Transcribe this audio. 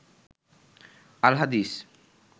আল হাদিস